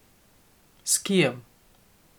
S kijem.